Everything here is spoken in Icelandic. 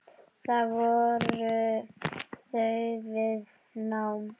Þar voru þau við nám.